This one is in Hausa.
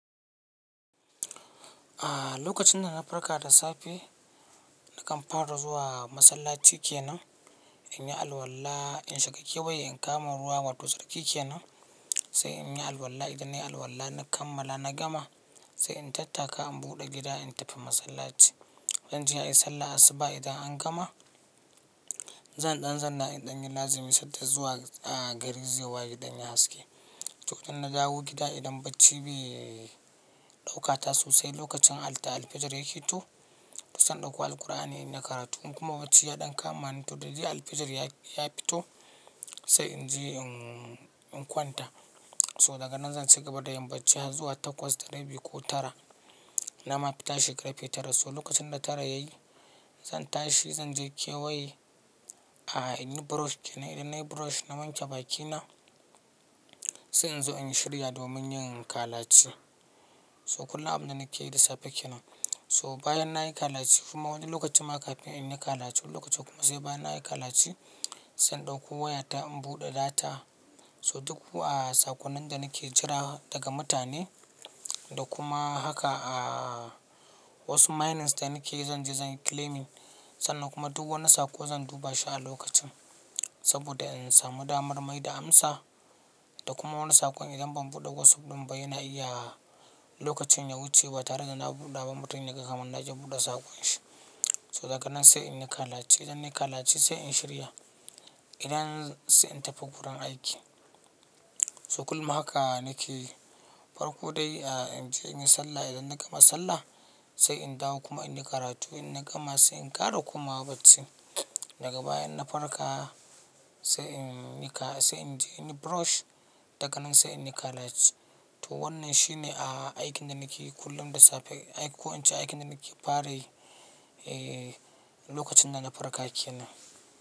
A lokacin da na farka da safe, nakan fara zuwa masallaci kenan, in yi alwala, in shiga kewaye in kama ruwa wato tsarki kenan, sai in yi alwala. Idan nayi alwala na kammala na gama, sai in tattaka in buɗe gida in tafi masallaci. Zan je in yi sallan asuba idan an gama, zan ɗan zanna idan yin lazimi sad da zuwa gari zai waye ya ɗan yi haske. Lokacin na dawo gida idan bacci bai ɗaukata sosai lokacin al-alfijir ya keto, to sai na ɗauko Alkur'ani na yi karatu, in kuma bacci ya ɗan kama ni, to da da dai alfijir ya fito, sai in je in, in kwanta. So daga nan zan ci gaba da yin bacci har zuwa takwas da rabi ko tara. Na ma fi tashi ƙarfe tara. So lokacin da tara yayi, zan tashi zan je kewaye, in yi brush kenan. Idan nayi brush na wanke bakina, sai in zo in shirya domin yin kalaci. So kullum abin da nake yi da safe kenan. So bayan nayi kalaci kuma wani lokacin ma kafin in yi kalaci wani lokacin kuma sai bayan nayi kalaci, sai in ɗauko wayata in buɗe data. So duk, saƙunan da nake jira daga mutane da kuma haka, wasu minings da nake yi zan je zan yi claiming sannan kuma duk wani saƙo zan duba shi a lokacin. Saboda in samu damar mai da amsa da kuma wani saƙon idan ban buɗe WhatsApp ɗin ba yana iya lokacin ya wuce ba tare da na buɗe ba mutum yana kama na je buɗe saƙon shi. So daga nan sai in yi kalaci. Idan nayi kalaci sai in shirya. Idan sai in tafi wurin aiki. So kullum haka nake yi. Farko dai, in je in yi sallah. Idan na gama sallah, sai in dawo kuma in yi karatu. In na gama sai in ƙare kuma bacci. Daga bayan na farka sai in yi ka-- sai in je in yi brush. Daga nan sai in yi kalaci. To wannan shine, aikin da nake yi kullum da safe. Ko na ce aikin da nake fara yi, eh, lokacin da na farka kenan.